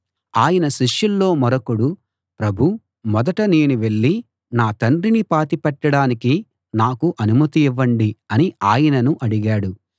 ఆయన శిష్యుల్లో మరొకడు ప్రభూ మొదట నేను వెళ్ళి నా తండ్రిని పాతిపెట్టడానికి నాకు అనుమతి ఇవ్వండి అని ఆయనను అడిగాడు